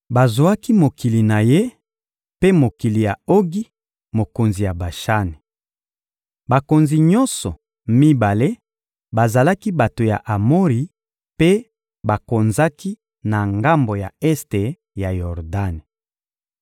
Bazwaki mokili na ye mpe mokili ya Ogi, mokonzi ya Bashani. Bakonzi nyonso mibale bazalaki bato ya Amori mpe bakonzaki na ngambo ya este ya Yordani.